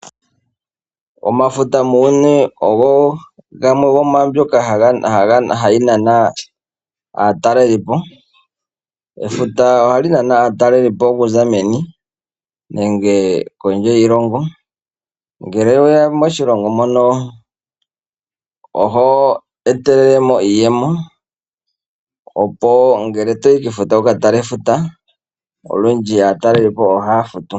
Omafuta muuyuni ogo gamwe gomwaambyoka hayi nana aatalelipo. Efuta ohali nana aatalelipo okuza meni nenge kondje yiilongo, ngele oweya moshilongo mono oho etelelemo iiyemo opo ngele toyi kefuta wuka tale efuta olundji aatalelipo ohaya futu